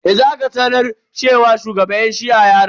Yanzu aka sanar cewa shugaban yan shi'a ya rasu.